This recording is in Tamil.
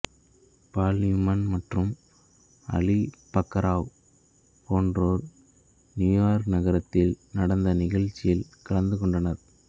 பால் நியூமன் மற்றும் அலி மக்கராவ் போன்றோர் நியூயார்க் நகரத்தில் நடந்த நிகழ்ச்சியில் கலந்து கொண்டனர்